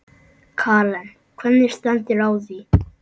Karen: Hvernig stendur á því?